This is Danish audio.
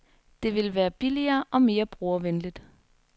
Det ville være billigere og mere brugervenligt.